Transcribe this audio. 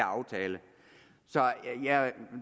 aftale så jeg er